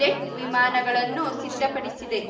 jet ವಿಮಾನಗಳನ್ನು ಸಿದ್ಧಪಡಿಸಿದೆ